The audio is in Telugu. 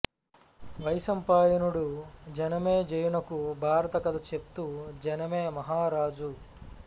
వైశంపాయనుడు జనమే జయునకు భారత కథ చెప్తూ జనమే మహారాజా